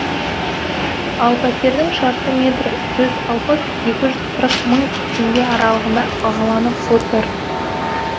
ал пәтердің шаршы метрі жүз алпыс екі жүз қырық мың теңге аралығында бағаланып отыр